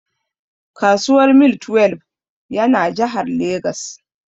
Kasuwar Mile twelbe ya na Jahar Legas